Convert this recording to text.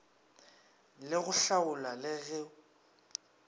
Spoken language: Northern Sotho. le go hlaola le go